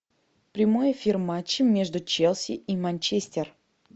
прямой эфир матча между челси и манчестер